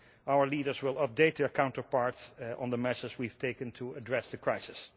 Our leaders will update their counterparts on the measures we have taken to address the crisis.